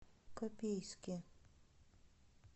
копейске